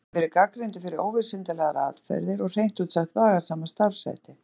Hann hefur verið gagnrýndur fyrir óvísindalegar aðferðir og hreint út sagt vafasama starfshætti.